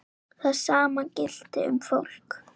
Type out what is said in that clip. Það sama gilti um fólk.